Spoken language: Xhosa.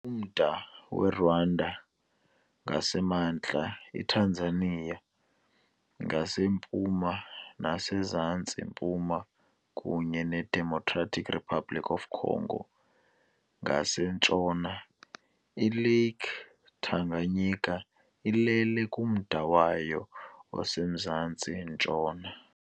Umda weRwanda ngasemantla, iTanzania ngasempuma nasemzantsi-mpuma, kunye neDemocratic Republic of the Congo ngasentshona, ILake Tanganyika ilele kumda wayo osemazantsi-ntshona.